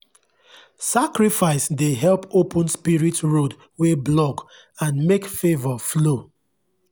sacrifice dey help open spirit road wey block and make favour flow.